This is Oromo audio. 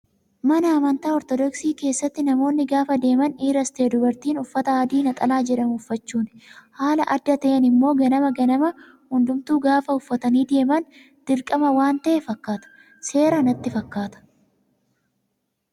Mana amantaa orthodoksii keessatti namoonni gaafa deeman dhiiras ta'ee dubartiin uffata adii naxalaa jedhamu uffachuuni. Haala adda ta'een immoo ganama ganama hundumtuu gaafa uffatanii deeman dirqama waan ta'e fakkaata. Seera natti fakkaataa